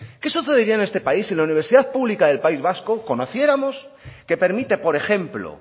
qué sucedería en este país si en la universidad pública del país vasco conociéramos que permite por ejemplo